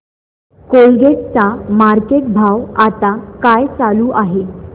Colgate चा market भाव आता काय चालू आहे